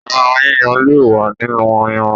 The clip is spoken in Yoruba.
Ẹran yíyan le wa nínú ayanran.